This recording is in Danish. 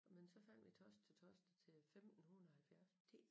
Men så fandt vi torsdag til torsdag til 1570